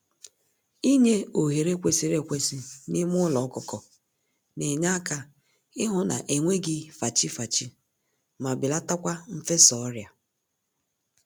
Inye ohere kwesịrị ekwesị n'ime ụlọ ọkụkọ n'enyeaka ịhụ na enweghị fachi-fachi, ma belatakwa mfesa ọrịa